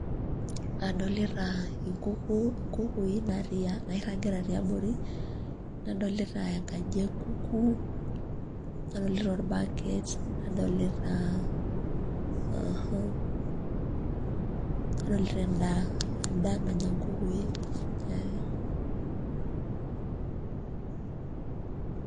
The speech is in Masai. Adolita inkukui nairragita teabori, nadolita enkaji enkuku, nadolita orbaket, nadolita, nadolita endaa endaa nanya nkukui.